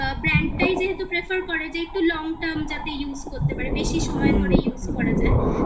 brand টাই যেহেতু prefer করে, যে একটু long time যাতে use করতে পারে, বেশি সময় করে use করা যায়